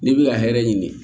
N'i bi ka hɛrɛ ɲini